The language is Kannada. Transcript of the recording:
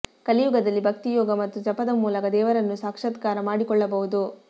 ಕಲಿಯುಗದಲ್ಲಿ ಭಕ್ತಿ ಯೋಗ ಮತ್ತು ಜಪದ ಮೂಲಕ ದೇವರನ್ನು ಸಾಕ್ಷಾತ್ಕಾರ ಮಾಡಿಕೊಳ್ಳಬಹುದು